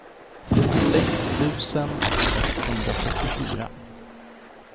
sjuttiosex tusen etthundrafyrtiofyra